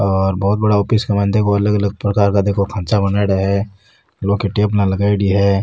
और बहोत बड़ा ऑफिस के माइन देखो अलग अलग प्रकार का देखो खाचा बनाईडा है लौह की टेबल लगायेडी है।